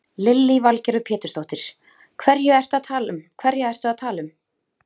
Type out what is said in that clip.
Lillý Valgerður Pétursdóttir: Hverja ertu að tala um?